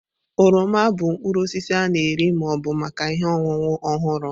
oroma bụ mkpụrụ osisi a na-eri ma ọ bụ maka ihe ọṅụṅụ ọhụrụ.